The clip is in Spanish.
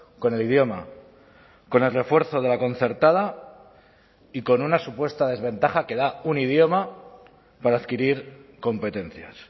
con el idioma con el refuerzo de la concertada y con una supuesta desventaja que da un idioma para adquirir competencias